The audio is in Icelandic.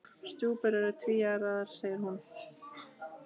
Stjúpur eru tvíærar segir hún.